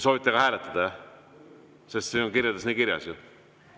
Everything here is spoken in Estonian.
Soovite ka hääletada, jah, sest kirjades on nii kirjas?